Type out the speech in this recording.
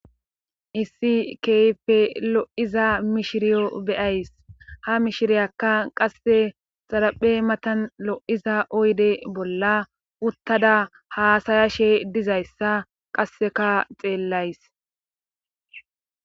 Issi keype lo'iza mishiriyo beyays ha mishiriyakka qasse xaraphe matan lo'iza oyde bolla uttada haasayashe dizayssa qasseka xeellays.